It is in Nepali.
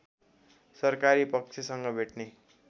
सरकारी पक्षसँग भेट्ने